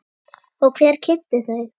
Og hver kynnti þau?